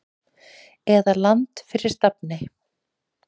eða Land fyrir stafni.